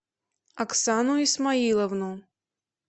оксану исмаиловну